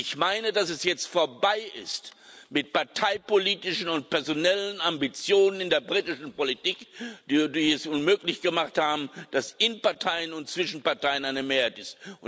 Ich meine, es ist jetzt vorbei mit parteipolitischen und personellen Ambitionen in der britischen Politik, die es unmöglich gemacht haben, dass es in und zwischen Parteien eine Mehrheit gibt.